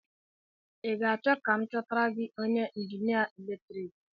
I ga-achọ ka m chọtara gị onye njinia eletrik?